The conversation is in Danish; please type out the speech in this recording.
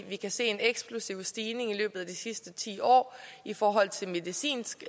vi kan se en eksplosiv stigning i løbet af de sidste ti år i forhold til medicinsk